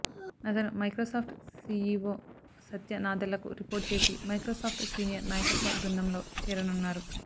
అతను Microsoft CEO Satya నాదెల్లకు report చేసి మైక్రోసాఫ్ట్ సీనియర్ నాయకత్వ బృందంలో చేరనున్నారు